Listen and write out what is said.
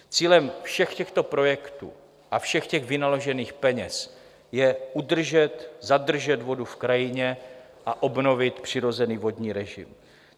Cílem všech těchto projektů a všech těch vynaložených peněz je udržet, zadržet vodu v krajině a obnovit přirozený vodní režim.